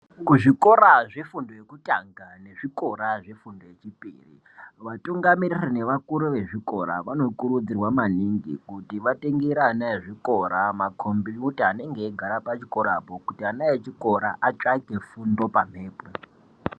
Kuzvikora zvefundo yokutanga nezvikora zvefundo yechipiri , vatungamiriri nevakuru vezvikora vanokurudzirwa maningi kuti vatengere ana ezvikora makhombiyuta anenge eigara pachikorapo, kuti ana echikora atsvake fundo pamhepo.